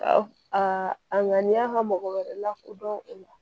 A a ŋaniya ka mɔgɔ wɛrɛ lakodɔn o la